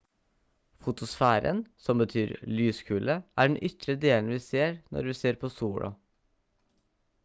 fotosfæren som betyr «lyskule» er den ytre delen vi ser når vi ser på sola